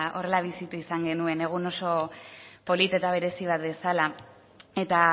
horrela bizitu izan genuen egun oso polit eta berezi bat bezala eta